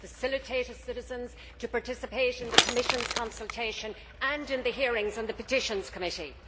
I have facilitated citizens to participate in the Commission's consultation and in the hearings in the Petitions Committee.